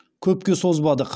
көпке созбадық